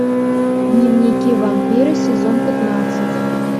дневники вампира сезон пятнадцать